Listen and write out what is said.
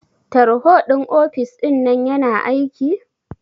Tarho ɗin ofis ɗinnan yana aiki?